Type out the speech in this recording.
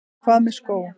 Hvað með skó?